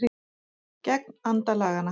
Gegn anda laganna